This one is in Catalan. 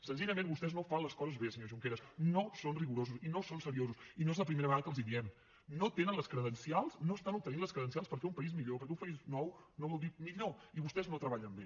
senzillament vostès no fan les coses bé senyor junqueras no són rigorosos i no són seriosos i no és la primera vegada que els ho diem no tenen les credencials no estan obtenint les credencials per fer un país millor perquè un país nou no vol dir millor i vostès no treballen bé